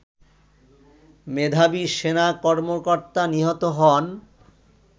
মেধাবী সেনা কর্মকর্তা নিহত হন